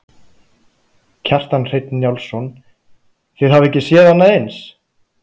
Kjartan Hreinn Njálsson: Þið hafið ekki séð annað eins?